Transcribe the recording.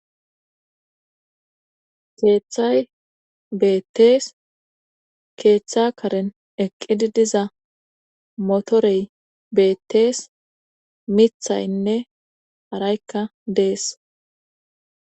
keeththay beettees keeththa karen eqqidi diza motorey beettees mithaynne haraykka dees